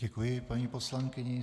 Děkuji paní poslankyni.